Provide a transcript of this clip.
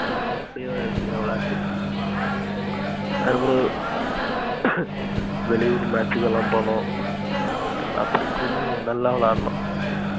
என்னக்கு அப்புடியே இருக்கு விளையாட்ட அதுக்கு அப்புறம் வெளியூரு match கலாம் போன்னோம் அப்டி இப்புடி நல்ல விளையாண்டோம்.